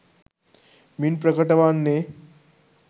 මින් ප්‍රකට වන්නේ,